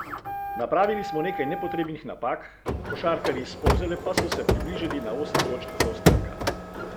Napravili smo nekaj nepotrebnih napak, košarkarji s Polzele pa so se približali na osem točk zaostanka.